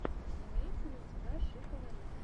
имеется ли у тебя шика лариса